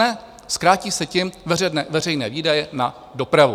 Ne, zkrátí se tím veřejné výdaje na dopravu.